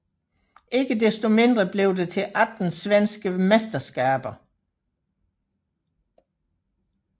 Ikke desto mindre blev det til 18 svenske mesterskaber